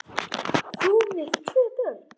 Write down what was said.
Þú með tvö börn!